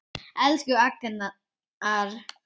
Elsku Agnar.